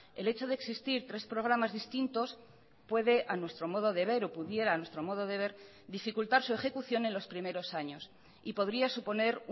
el hecho de existir tres programas distintos puede a nuestro modo de ver o pudiera a nuestro modo de ver dificultar su ejecución en los primeros años y podría suponer